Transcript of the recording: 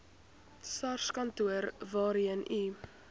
sarskantoor waarheen u